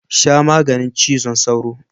Sha maganin cizon sauron.